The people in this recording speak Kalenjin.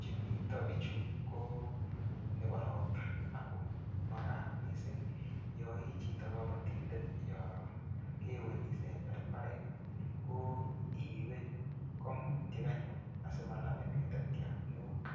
che mito biichu ko nebo ropta ago magat mising yoichito kabatindet, yokewe nyisember imbaret ko ipe kambutiek anyun asimanamin ngatatiat neo.